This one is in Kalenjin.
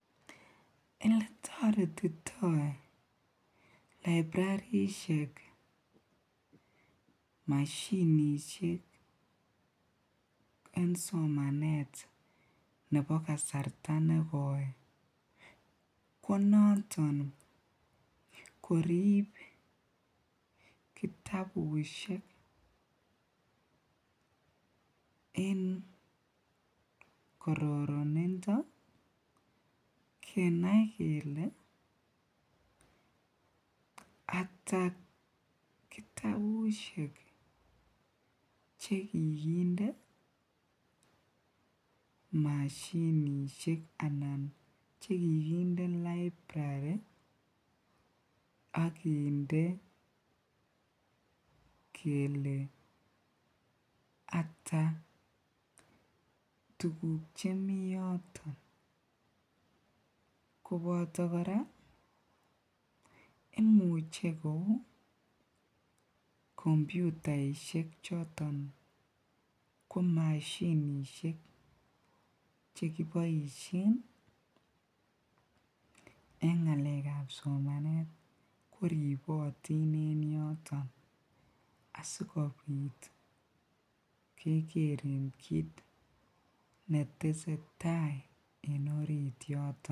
Eletoretito librarishek mashinishek en somanet nebo kasarta nekoi ko noton korib kitabushek en kororonindo kenai kelee ataa kitabushek chekikinde mashinishek anan chekikinde librari ak kinde kelee ataa tukuk chemii yoton, koboto kora imuche kouu kompyutaishek choton ko mashinishek chekiboishen en ngalekab koribotin en yoton asikobit kekeren kiit netesetai en oriit yoton.